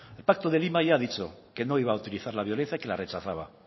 el pacto de lima ya ha dicho que no iba a utilizar la violencia que la rechazaba